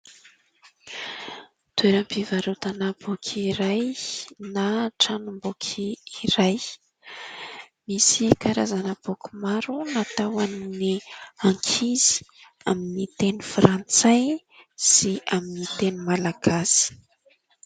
Toeram-pivarotana boky iray na tranom-boky iray, misy karazana boky maro natao ho an'ny ankizy amin'ny teny frantsay sy amin'ny teny malagasy.